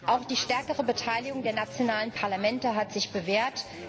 Auch die stärkere Beteiligung der nationalen Parlamente hat sich bewährt.